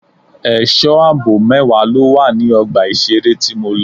Ẹ̀sọ́ àbò mẹ́wàá ló wà ní ọgbà ìṣeré tí mo lọ.